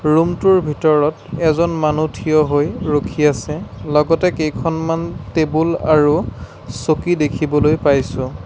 ৰুমটোৰ ভিতৰত এজন মানুহ থিয় হৈ ৰখি আছে লগতে কেইখনমান টেবুল আৰু চকী দেখিবলৈ পাইছোঁ।